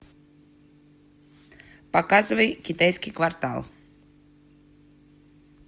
показывай китайский квартал